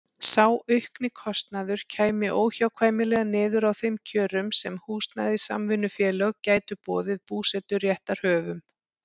Sá aukni kostnaður kæmi óhjákvæmilega niður á þeim kjörum sem húsnæðissamvinnufélög gætu boðið búseturéttarhöfum.